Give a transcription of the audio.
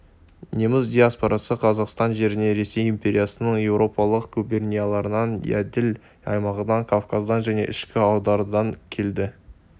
неміс диаспорасы қазақстан жеріне ресей империясының еуропалық губернияларынан еділ аймағынан кавказдан және ішкі аудандардан келді